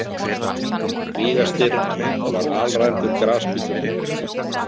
Víga- Styrr var alræmdur grasbítur.